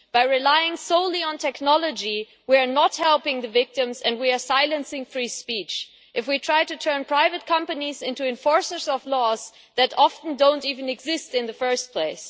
By relying solely on technology we are not helping the victims and we are silencing free speech if we try to turn private companies into enforcers of laws that often do not even exist in the first place.